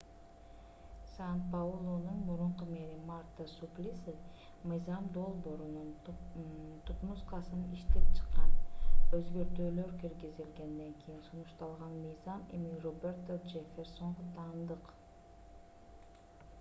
сан-паулунун мурунку мэри марта суплиси мыйзам долбоорунун түпнускасын иштеп чыккан өзгөртүүлөр киргизилгенден кийин сунушталган мыйзам эми роберто джефферсонго таандык